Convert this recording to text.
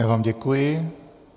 Já vám děkuji.